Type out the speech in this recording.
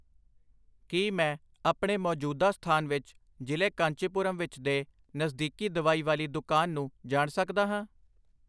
ਕੀ ਮੈਂ ਆਪਣੇ ਮੌਜੂਦਾ ਸਥਾਨ ਵਿੱਚ ਜ਼ਿਲੇ ਕਾਂਚੀਪੁਰਮ ਵਿੱਚ ਦੇ ਨਜ਼ਦੀਕੀ ਦਵਾਈ ਵਾਲੀ ਦੁਕਾਨ ਨੂੰ ਜਾਣ ਸਕਦਾ ਹਾਂ ?